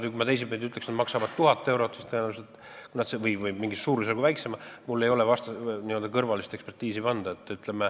Või kui ma ütleksin teisipidi, et need maksavad 1000 eurot või mingi suurusjärgu võrra vähem, siis mul ei ole n-ö kõrvalist ekspertiisi anda.